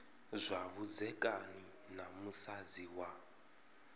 zwa vhudzekani na musadzi wa